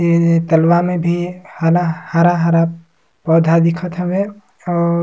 ए तलवा में भी हला हरा-हरा पौधा दिखत हवे और--